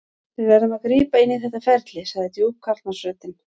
Við verðum að grípa inn í þetta ferli, sagði djúp karlmannsröddin.